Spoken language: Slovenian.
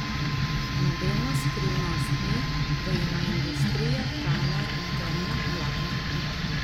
Nobena skrivnost ni, da ima industrija hrane temno plat.